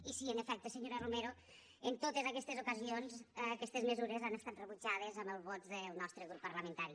i sí en efecte senyora romero en totes aquestes ocasions aquestes mesures han estat rebutjades amb els vots del nostre grup parlamentari